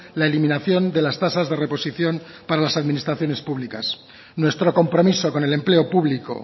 la eliminación de las tasas de reposición para las administraciones públicas nuestro compromiso con el empleo público